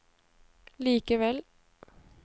likevel